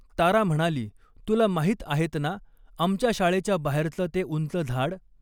तारा म्हणाली, तुला माहीत आहेत ना, आमच्या शाळेच्या बाहेरचं ते उंच झाड?